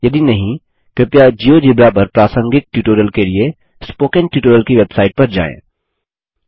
यदि नहीं कृपया जियोजेब्रा पर प्रासंगिक ट्यूटोरियल के लिए स्पोकन ट्यूटोरियल की वेबसाइट पर जाएँ